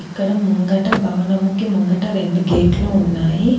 ఇక్కడ ముంగట భవనముకి ముంగట రెండు గేట్లు ఉన్నాయి.